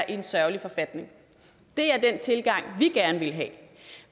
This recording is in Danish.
en sørgelig forfatning det er den tilgang vi gerne vil have